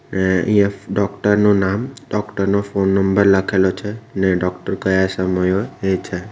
અહીંયા ડોક્ટર નું નામ ડોક્ટર નો ફોન નંબર લખેલો છે ને ડોક્ટર કયા સમયે હોય એ છે.